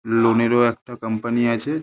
লোনেরও একটা কোম্পানি আছে।